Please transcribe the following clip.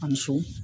A muso